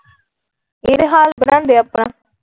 ਇਹ ਤਾ ਹਾਲ ਬਨਾਂਦੇ ਆਪਣਾ ।